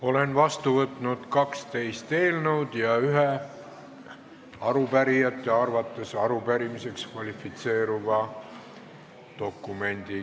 Olen vastu võtnud 12 eelnõu ja ühe arupärijate arvates arupärimiseks kvalifitseeruva dokumendi.